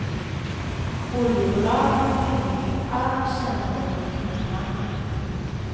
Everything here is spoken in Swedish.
Oljebolagen har förnekat all kännedom och inblandning.